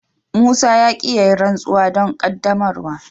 Musa ya ki ya yi rantsuwa don qaddamarwa.